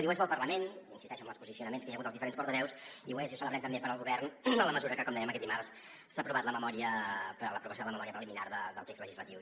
i ho és per al parlament hi insisteixo amb els posicionaments que hi ha hagut dels diferents portaveus i ho és i ho celebrem també per al govern en la mesura que com dèiem aquest dimarts s’ha aprovat la memòria del text legislatiu